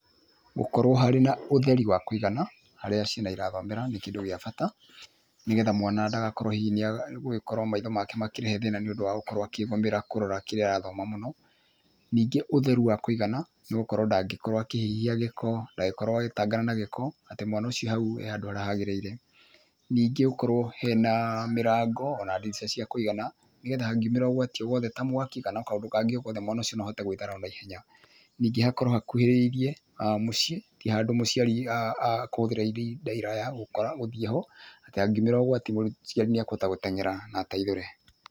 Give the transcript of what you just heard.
Gũkorwo harĩ na ũtheri wa kũigana, harĩa ciana irathomera nĩ kĩndũ gĩa bata, nĩgetha mwana ndagakorwo hihi nĩagũgĩkorwo maitho make makĩrehe thĩna nĩũndũ wa gũkorwo akĩgũmĩra kũrora kĩrĩa arathoma mũno. Ningĩ ũtheru wa kũigana nĩgũkorwo ndangĩkorwo akĩhihia gĩko, ndangĩkorwo agĩtangana na gĩko, atĩ mwana ũcio hau e handũ harĩa hagĩrĩire. Ningĩ gũkorwo hena mĩrango ona ndirica cia kũigana, nĩgetha hangĩumĩra ũgwati o wothe ta mwaki kana o kaũndũ kangĩ o gothe, mwana ũcio no ahote gwĩthara o naihenya. Ningĩ hakorwo hakũhĩrĩirie mũciĩ, ti handũ mũciari akũhũthĩra ihinda iraya gũkora gũthiĩ ho, atĩ hangĩumĩra ũgwati mũciarĩ nĩekũhota gũtengera na ateithũre.